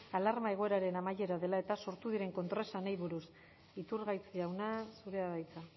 alarma egoeraren amaiera dela eta sortu diren kontraesanei buruz iturgaiz jauna zurea da hitza